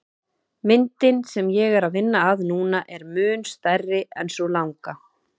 Myndin sem ég er að vinna að núna er mun stærri en sú langa.